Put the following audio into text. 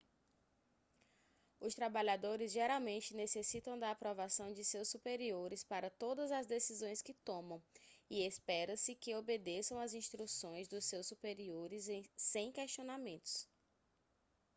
os trabalhadores geralmente necessitam da aprovação de seus superiores para todas as decisões que tomam e espera-se que obedeçam as instruções dos seus superiores sem questionamentos